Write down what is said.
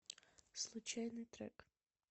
случайный трек